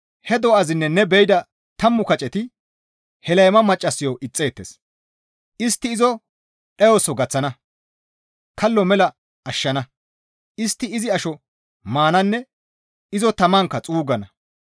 He do7azinne ne be7ida tammu kaceti he layma maccassayo ixxeettes; istti izo dhayoso gaththana; kallo mela ashshana; istti izi asho maananne izo tamankka xuuggana.